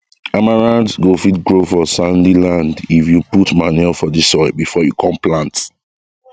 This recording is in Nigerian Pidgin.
amaranth go fit grow for sandy land if you put manure for the soil before you come plant